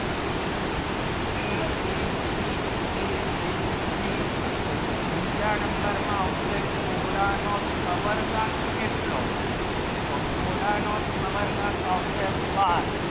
abc abc બીજા નંબર માં આવશે ગોળા નો cover ના કેટલો તો ગોળા ને cover ના આવશે બાર